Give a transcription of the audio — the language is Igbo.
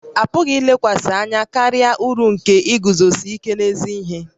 A pụghị ilekwasị anya karịa uru nke iguzosi ike n'ezi ihe